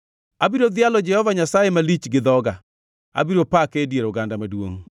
Abiro dhialo Jehova Nyasaye malich gi dhoga; abiro pake e dier oganda maduongʼ.